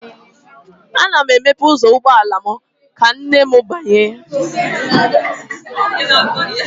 Ana m emepe ụzọ ụgbọala m ka nne m banye